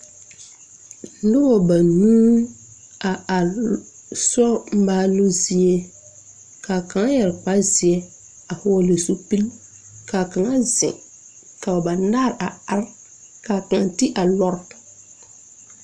Nobɔ banuu a are lɔɔresori maaloo zie kaa kaŋ yɛre kpare zeɛ a hɔɔle zupil kaa kaŋa zeŋ ka ba banaare a are kaa kaŋ ti a lɔre.